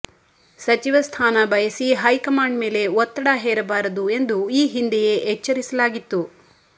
ಸಚಿವ ಸ್ಥಾನ ಬಯಸಿ ಹೈ ಕಮಾಂಡ್ ಮೇಲೆ ಒತ್ತಡ ಹೇರಬಾರದು ಎಂದು ಈ ಹಿಂದೆಯೇ ಎಚ್ಚರಿಸಲಾಗಿತ್ತು